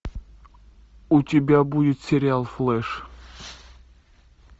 у тебя будет сериал флэш